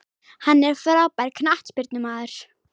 Hann er frábær knattspyrnumaður.